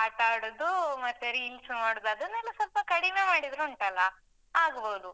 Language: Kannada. ಆಟ ಆಡುದು ಮತ್ತೆ reels ಮಾಡುದು, ಅದೆಲ್ಲನೂ ಸ್ವಲ್ಪ ಕಡಿಮೆ ಮಾಡಿದ್ರುಂಟಲ್ಲ, ಆಗ್ಬೋದು.